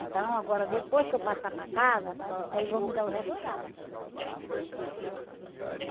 Então agora, depois que eu passar para casa, aí eles vão me dar o restante.